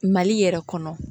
Mali yɛrɛ kɔnɔ